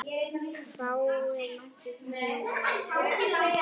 Fáir voru á ferli.